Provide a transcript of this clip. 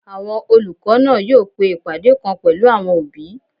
Àwọn olùkọ́ náà yóò pe ìpàdé kan pẹ̀lú àwọn òbí